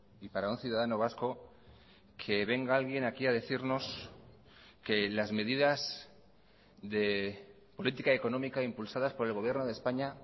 y para un ciudadano vasco que venga alguien aquí a decirnos que las medidas de política económica impulsadas por el gobierno de españa